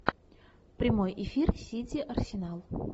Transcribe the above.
прямой эфир сити арсенал